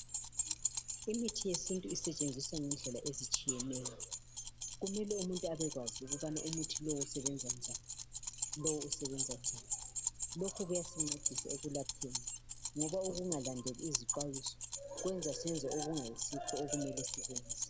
Imithi yesintu isetshenziswa ngendlela ezitshiyeneyo kumele umuntu abekwazi ukuthi umuthi lowu usebenza njani lokhu kuyasincedisa ekulapheni ngoba ukungalandeli izixhwayiso kwenza senze okungayisikho okumele sikwenze